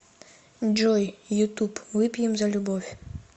джой ютуб выпьем за любовь